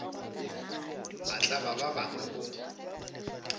a tlaba ba bangwe o